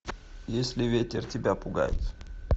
если ветер тебя пугает